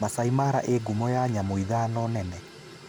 Masaai Mara ĩĩ ngumo nyamũ ithano nene.